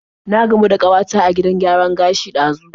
Na gamu da kawata a gidan gyaran gashi ɗazu.